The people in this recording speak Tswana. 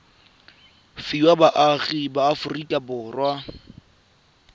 fiwa baagi ba aforika borwa